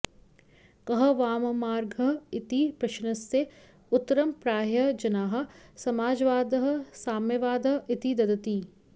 कः वाममार्गः इति प्रश्नस्य उत्तरं प्रायः जनाः समाजवादः साम्यवादः इति ददति